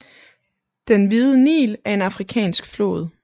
Den Hvide Nil er en afrikansk flod